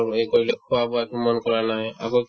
এই কৰিলে খোৱা-বোৱাতো ইমান কৰা নাই আকৌ